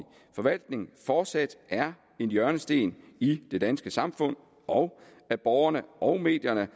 forvaltning fortsat er en hjørnesten i det danske samfund og at borgerne og medierne